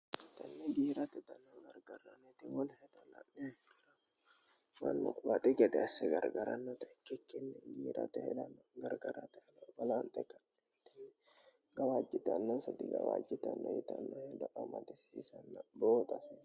anna jiirati tanno gargarrannote mol herolanhe mannoquwaaxe gede asse gargarannote cikkinni jiirate helanno gargarateheno falaanxa kanniti gawaajjitannansa digawaajjitannoitannohido'ammanto fiisanna booxasi